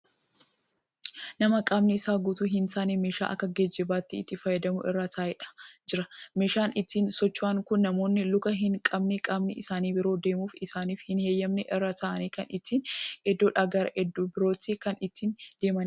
Nama qaamni Isaa guutuu hin taane meeshaa Akka geejjibaatti itti fayyadamu irra taa'ee jira. meeshaan ittiin socho'an Kuni namoonni luka hin qabne, qaamni isaanii biroo deemuuf isaaniif hin eyyamne irra taa'anii Kan ittiin iddoodhaa gara iddoo birootti kan ittiin deemaniidha.